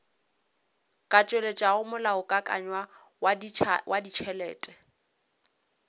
ka tšweletšago molaokakanywa wa ditšhelete